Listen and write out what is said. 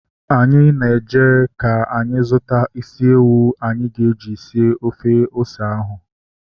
Anyị na-eje ka anyị zụta isi ewu anyị ga-eji sie ofe ose ahụ